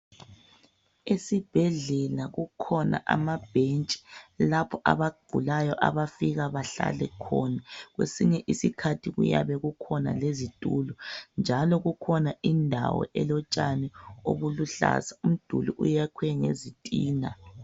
esibhedlela kukhona amabhentshi lapho abagulayo abafika bahlale khona kwesinye isikhathi kuyabe kukhona lezitulo njalo kukhona indawo elotshani obuluhlaza umduli uyakhw ngezitina